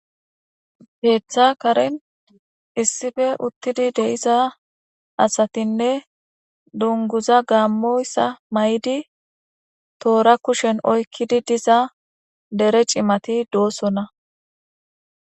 Keeththa karin issipe uttidi deyiza asatinne dunguza gaammoyssa maydi toora kushen oykkidi diza dere cimati doosona.